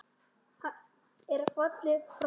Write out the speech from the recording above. er fallinn frá.